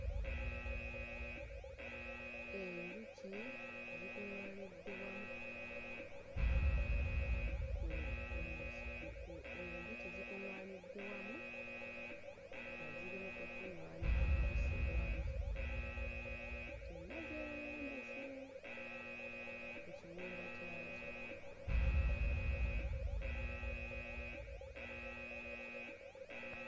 Enjuki zikuŋŋaanidde wamu ku kumuzi ku ku enjuki zikuŋŋaanidde wamu nga ziri mu kukuŋŋaanya omubisi gwazo zonna zeerembese ku kiyumba kyazo.